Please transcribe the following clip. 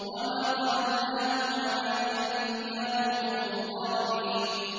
وَمَا ظَلَمْنَاهُمْ وَلَٰكِن كَانُوا هُمُ الظَّالِمِينَ